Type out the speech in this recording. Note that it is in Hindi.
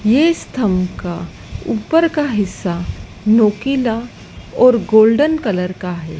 ये इस थंब का ऊपर का हिस्सा नोकिला और गोल्डन कलर का है।